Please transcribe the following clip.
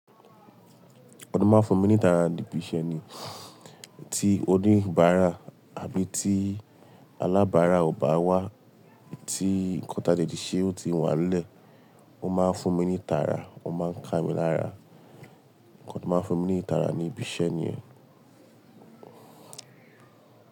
Ó máa ń fún mi ní ìtara níbi iṣẹ́ ni, tí oníbàárà àbí tí alábàárà ò bá wá, tí nǹkan tí a dẹ̀ ti ṣe ò tí wá lẹ̀, ó máa ń fún mi ní ìtara, ó máa ń ká mi lára. Nǹkan tó máa ń fún mi ní ìtara ní ibi iṣẹ́ nìyẹn.